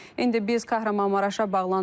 İndi biz Kahramanmaraşa bağlanırıq.